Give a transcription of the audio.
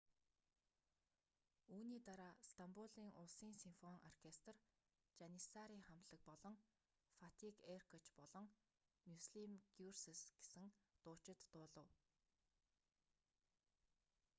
үүний дараа стамбулын улсын симфони оркестр жаниссари хамтлаг болон фатик эркоч болон мюслим гюрсес гэсэн дуучид дуулав